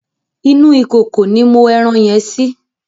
Inú ìkòkò ni mo ẹran yẹn sí.